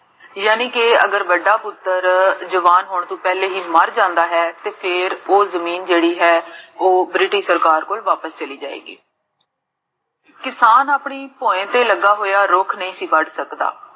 ਯਾਨੀ ਕੇ ਅਗਰ ਵੱਡਾ ਪੁੱਤਰ ਜਵਾਨ ਹੋਣ ਤੋ ਪਹਲੇ ਹੀ ਮਾਰ ਜਾਂਦਾ ਹੈ, ਤੇ ਫੇਰ ਓਹ ਜਮੀਨ ਜੇਹੜੀ ਹੈ, ਓਹ British ਸਰਕਾਰ ਕੋਲ ਵਾਪਿਸ ਚਲੀ ਜਾਏਗੀ ਕਿਸਾਨ ਆਪਣੀ ਧੁਏਂ ਤੇ ਲੱਗਾ ਹੋਇਆ ਰੁਖ ਨਹੀ ਸੀ ਵੱਡ ਸਕਦਾ